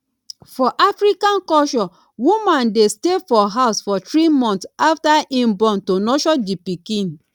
for afican culture woman de stay for house for three months after im born to nurture di pikin